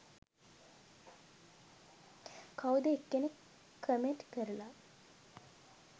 කවුද එක්කෙනෙක් කමෙන්ට් කරලා